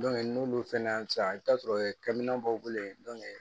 n'olu fɛnɛ hali sisan i bi taa sɔrɔ kɛmɛn dɔw be ye